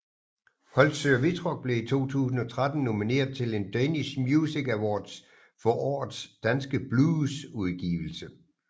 Holtsø og Wittrock blev i 2013 nomineret til en Danish Music Awards for Årets Danske Bluesudgivelse